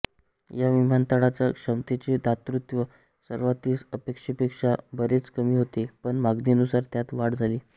या विमानतळाच्या क्षमतेचे दातृत्व सुरूवातीस अपेक्षेपेक्षा बरेच कमी होते पण मागणीनुसार त्यात वाढ झाली